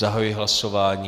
Zahajuji hlasování.